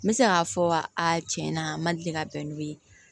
N bɛ se k'a fɔ a tiɲɛ na n ma deli ka bɛn n'o ye